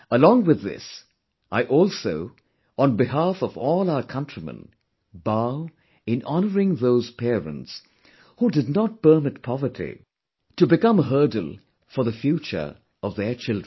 Along with this, I also, on behalf of all our countrymen, bow in honouring those parents, who did not permit poverty to become a hurdle for the future of their children